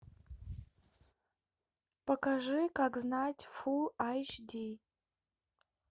покажи как знать фулл айч ди